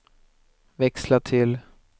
växla till